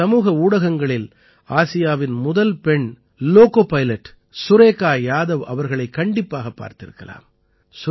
நீங்கள் சமூக ஊடகங்களில் ஆசியாவின் முதல் பெண் லோகோ பைலட் சுரேகா யாதவ் அவர்களைக் கண்டிப்பாகப் பார்த்திருக்கலாம்